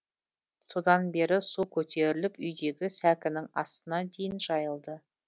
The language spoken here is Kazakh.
содан бері су көтеріліп үйдегі сәкінің астына дейін жайылды